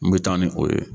N bɛ taa ni o ye